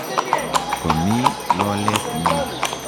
Ko mii lolet nyu.